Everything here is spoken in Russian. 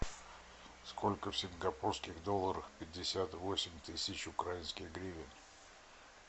сколько в сингапурских долларах пятьдесят восемь тысяч украинских гривен